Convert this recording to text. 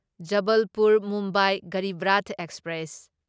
Jabalpur Mumbai ꯒꯔꯤꯕ꯭ꯔꯥꯊ express